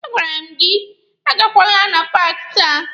A gwara m gị agakwala na paaki taa!